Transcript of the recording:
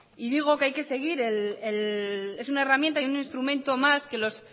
y digo que es una herramienta un instrumento más que los